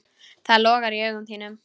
Það logar í augum þínum.